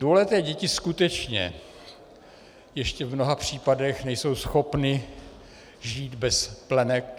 Dvouleté děti skutečně ještě v mnoha případech nejsou schopny žít bez plenek.